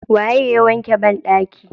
Waye ya wanke bandaki?